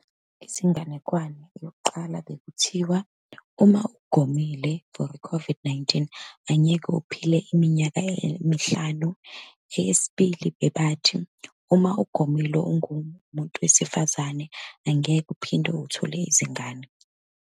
Izinganekwane, eyokuqala bekuthiwa uma ugomile for i-COVID-19, angeke uphile iminyaka emihlanu. Eyesibili, bebathi uma ugomile ungumuntu wesifazane, angeke uphinde uthole izingane.